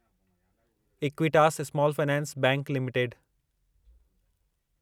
Equitas Small Finance Bank limited